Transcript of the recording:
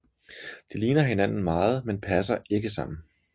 De ligner hinanden meget men passer ikke sammen